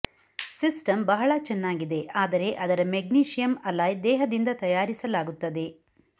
system ಬಹಳ ಚೆನ್ನಾಗಿದೆ ಆದರೆ ಅದರ ಮೆಗ್ನೀಸಿಯಮ್ ಅಲಾಯ್ ದೇಹದಿಂದ ತಯಾರಿಸಲಾಗುತ್ತದೆ